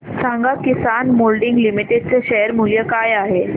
सांगा Kisan moulding limited चे share मूल्य काय आहे